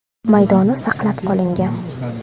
maydoni saqlanib qolingan.